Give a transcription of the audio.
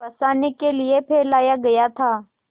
फँसाने के लिए फैलाया गया था